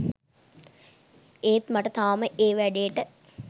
ඒත් මට තාම ඒ වැඩේට